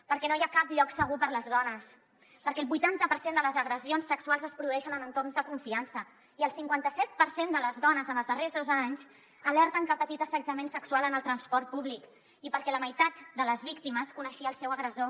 perquè no hi ha cap lloc segur per a les dones perquè el vuitanta per cent de les agressions sexuals es produeixen en entorns de confiança i el cinquanta set per cent de les dones en els darrers dos anys alerten que han patit assetjament sexual en el transport públic i perquè la meitat de les víctimes coneixia el seu agressor